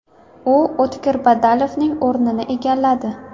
U O‘tkir Badalovning o‘rnini egalladi.